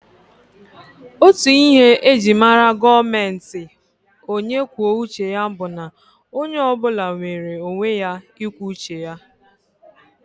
Otú ihe e ji mara gọọmenti onye kwuo uche ya bụ na onye ọ bụla nwere onwe ya ikwu uche ya